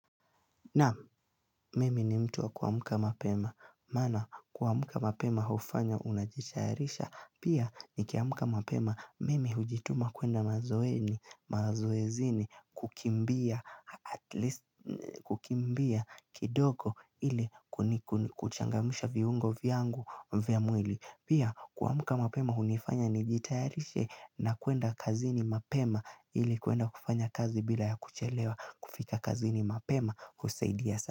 Naam, mimi ni mtu wa kuamka mapema, maana kuamka mapema hufanya unajitayarisha, pia nikiamka mapema, mimi hujituma kuenda mazoeni, mazoezini, kukimbia, at least, kukimbia kidogo ili kuchangamsha viungo vyangu vya mwili. Pia kuamka mapema hunifanya nijitayarishe na kuenda kazini mapema ili kuenda kufanya kazi bila ya kuchelewa kufika kazini mapema.